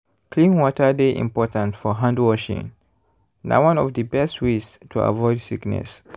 clean water dey important for handwashing—na one of the best ways to avoid sickness.